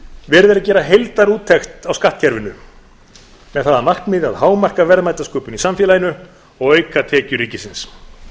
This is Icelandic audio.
verið er að gera heildarúttekt á skattkerfinu með það að markmiði að hámarka verðmætasköpun í samfélaginu og auka tekjur ríkisins